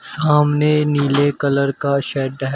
सामने नीले कलर का शेड है।